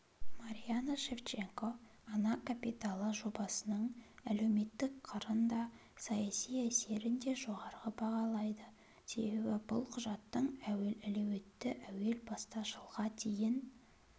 марианна шевченко ана капиталы жобасының әлеуметтік қырын да саяси әсерін де жоғары бағалайды себебі бұл құжаттың әлеуеті әуел баста жылға дейін